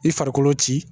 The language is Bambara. I farikolo ci